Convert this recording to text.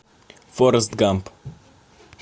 форест гамп